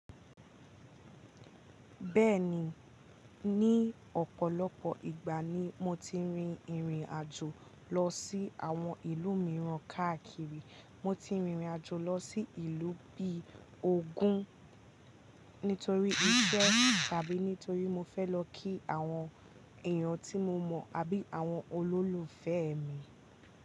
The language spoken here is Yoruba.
Bẹ́ẹ̀ni, ní ọ̀pọ̀lọpọ̀ ìgbà ni mo ti rin ìrìnàjò lọ sí àwọn ìlú mìíràn káàkiri. Mo ti rìrìnàjò lọ sí ìlú bí i ógún nítorí iṣẹ́ tàbí nítorí mo fẹ́ lọ kí àwọn èèyàn tí mo mọ̀ àbí àwọn olólùfẹ́ mi.